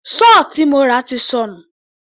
Sọ́ọ̀ tí mo rà ti sọnù.